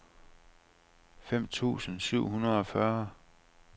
fem tusind syv hundrede og fyrre